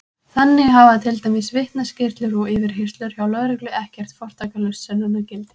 Þannig hafa til dæmis vitnaskýrslur og yfirheyrslur hjá lögreglu ekkert fortakslaust sönnunargildi!